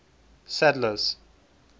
sadler's